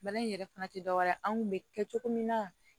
Bana in yɛrɛ fana tɛ dɔwɛrɛ ye anw kun bɛ kɛ cogo min na